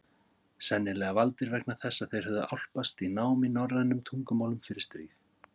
Sennilega valdir vegna þess að þeir höfðu álpast í nám í norrænum tungumálum fyrir stríð.